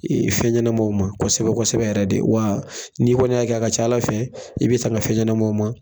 Ee fɛn ɲanamaw ma kɔsɛbɛ kɔsɛbɛ yɛrɛ de . Wa n'i kɔni y'a kɛ a ka ca ala fɛ i be tanga fɛn ɲanamaw ma.